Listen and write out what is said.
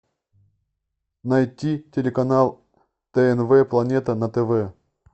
найти телеканал тнв планета на тв